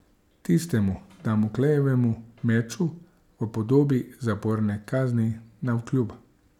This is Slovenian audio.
Tistemu Damoklejevemu meču v podobi zaporne kazni navkljub.